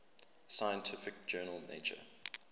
scientific journal nature